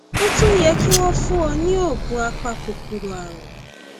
ó tún yẹ kí wọn fún ọ ní oògùn apakòkòrò ààrùn